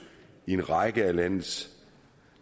i en række af landets